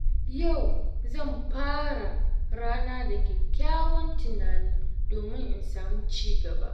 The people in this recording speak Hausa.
Yau zan fara rana da kyakkyawan tunani domin in sami ci gaba